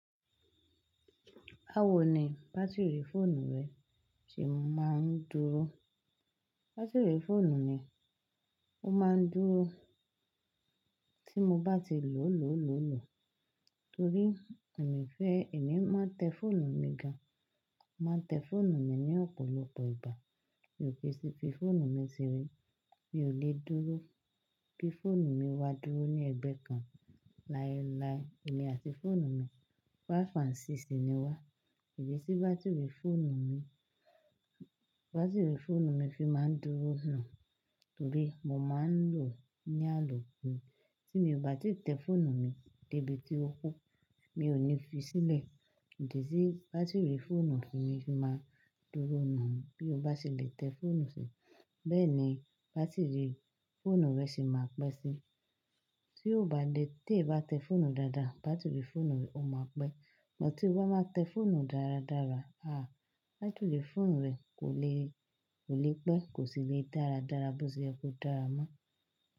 Báwo ni bátírì fóònù rẹ ti máa ń dúró? Bátírì fóònù mi, ó máa ń dúró tí mo bá ti lò lólò lólò torí emi fẹ́, èmi má tẹ fóònù mi gan mà tẹ fóònù mi ní ọ̀pọ̀lọpọ̀ ìgbà. Mi ò kì í sí fi fóònù mi sere, mi ò le dúró, bi fóònù mi ea dúró ní ẹgbẹ́ kan láyé láyé, èmi àti fóònù mi 5 and 6 ní wá. Kì í ṣe bátírì fóònù mi, bátírì fóònù mi fi máa ń dúró náà torí mo máa ń lò ó ní àlọ́ ku Ti mi o bá ti tẹ fóònù mi débi tí ó kú, mi ò ní fi sílẹ̀, kì í ṣe bátírì fóònù mi fi máa ń dúró náà. Bí o bá ṣe le tẹ fóònù ṣe, bẹ́ẹ̀ ni bátírì fóònù rẹ ṣe máa pẹ́ si. Tí o bá lè tẹ bá tẹ fóònù dáadáa, bátírì fóònù rẹ ó máa pẹ́. Ṣùgbọ́n tí o bá máa tẹ fóònù dáradára, àá, bátírì fóònù rẹ kò lé, kò le pẹ́, kò sí le dáradára bó ṣe ẹ kó dára mọ́